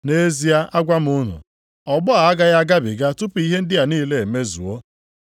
“Nʼezie agwa m unu, ọgbọ a agaghị agabiga tupu ihe ndị a niile emezuo.